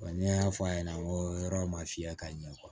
Wa ne y'a fɔ a ɲɛna n ko yɔrɔ ma fiyɛ ka ɲɛ